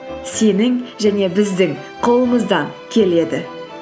сенің және біздің қолымыздан келеді